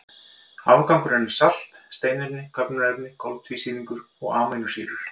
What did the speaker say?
Afgangurinn er salt, steinefni, köfnunarefni, koltvísýringur og amínósýrur.